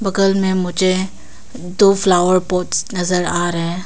घर में मुझे दो फ्लावर पॉट्स नजर आ रहे--